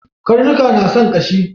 Karnuka na son ƙashi